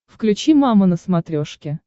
включи мама на смотрешке